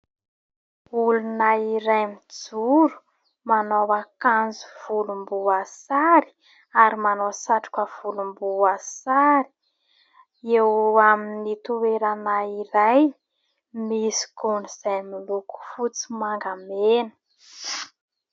Olona iray mijoro manao akanjo volomboasary ary manao satroka volomboasary eo amin'ny toerana iray misy gony izay miloko, fotsy, manga, mena.